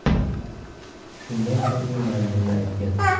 Shundan so‘ng u manzilni aytgan.